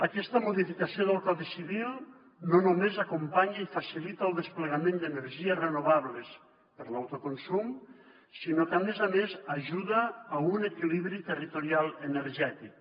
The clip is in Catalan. aquesta modificació del codi civil no només acompanya i facilita el desplegament d’energies renovables per l’autoconsum sinó que a més a més ajuda a un equilibri territorial energètic